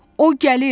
O gəlir.